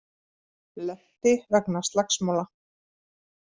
Lenti vegna slagsmála